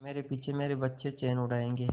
मेरे पीछे मेरे बच्चे चैन उड़ायेंगे